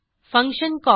function call